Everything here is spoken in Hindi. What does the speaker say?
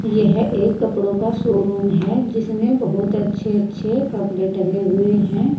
यह एक कपड़ों का शोरूम है जिसमें बहुत अच्छे अच्छे कपड़े पहने हुए है।